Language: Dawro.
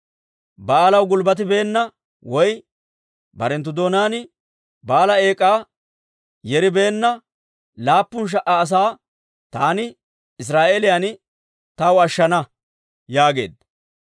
Ba'aalaw gulbbatibeenna woy barenttu doonaan Ba'aala eek'aa yeribeenna laappun sha"a asaa taani Israa'eeliyaan taw ashshana» yaageedda.